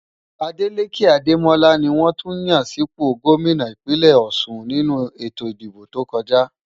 Adeleke Ademola ni wọ́n tún yàn sípò gómìnà ìpínlè Ọ̀șun nínú ètò ìdìbò tó kọjá.